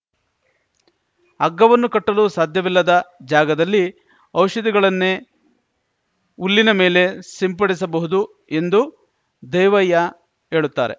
ಹಗ್ಗವನ್ನು ಕಟ್ಟಲು ಸಾಧ್ಯವಿಲ್ಲದ ಜಾಗದಲ್ಲಿ ಔಷಧಿಗಳನ್ನೇ ಹುಲ್ಲಿನ ಮೇಲೆ ಸಿಂಪಡಿಸಬಹುದು ಎಂದು ದೇವಯ್ಯ ಹೇಳುತ್ತಾರೆ